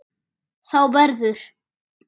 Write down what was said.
Þá verður